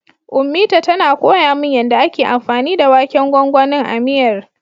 Ummita tana koya min yanda ake anfani da waken gwangwanin a miyar.